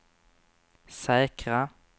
säkra